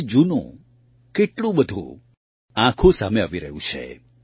આજે જૂનું કેટલું બધું આંખો સામે આવી રહ્યું છે